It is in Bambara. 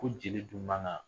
Ko jeli dun man kan